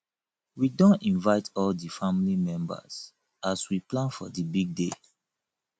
we don invite all di family members as we plan for di big day